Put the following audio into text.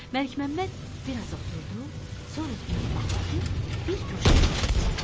Məlikməmməd biraz oturdu, sonra dükanı bağlayıb bir guşəyə çəkildi.